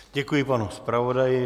Děkuji panu zpravodaji.